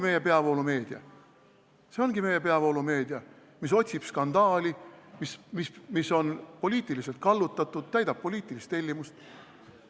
See ongi meie peavoolumeedia, mis otsib skandaali, mis on poliitiliselt kallutatud, täidab poliitilist tellimust.